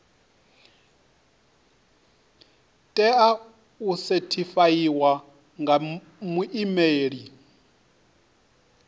tea u sethifaiwa nga muimeli